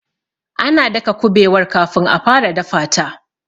ana daka kubewar kafin a fara dafa ta